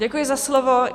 Děkuji za slovo.